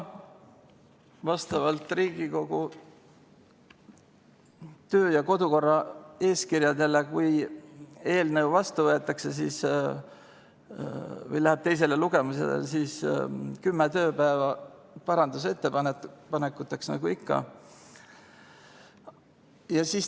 Vastavalt Riigikogu töö- ja kodukorra eeskirjadele, kui eelnõu vastu võetakse või läheb teisele lugemisele, siis on kümme tööpäeva parandusettepanekuteks, nagu ikka.